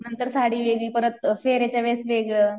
नंतर साडी वेगळी, परत फेरेच्या वेळेस वेगळं